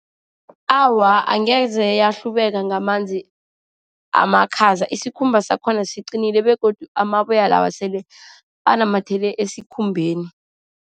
Awa, angeze yahlubeka ngamanzi amakhaza. Isikhumba sakhona siqinile, begodu amaboya lawa sele anamathele esikhumbeni.